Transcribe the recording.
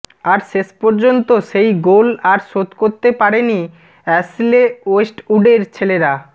আর শেষপর্যন্ত সেই গোল আর শোধ করতে পারেনি অ্যাশলে ওয়েস্টউডের ছেলেরা